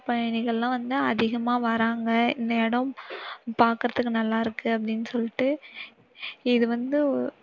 பயணிகள் எல்லாரும் வந்து அதிகமா வராங்க. இந்த இடம் பாக்கிறதுக்கு நல்லாயிருக்கு அப்படினு சொல்லிட்டு. இது வந்து